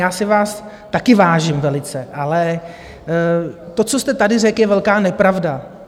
Já si vás také vážím velice, ale to, co jste tady řekl, je velká nepravda.